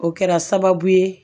O kɛra sababu ye